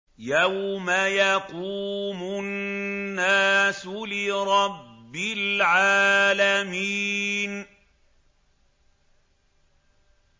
يَوْمَ يَقُومُ النَّاسُ لِرَبِّ الْعَالَمِينَ